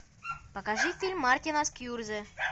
покажи фильм мартина скьюрзе